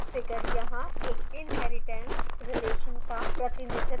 figure यहाँ एक inheritance relation का प्रतिनिधित्व करता है